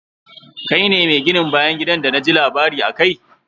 Kai ne mi gin bayan gidan d na ji labari akai.